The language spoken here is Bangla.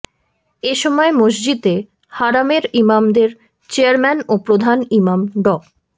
এ সময় মসজিদে হারামের ইমামদের চেয়ারম্যান ও প্রধান ইমাম ড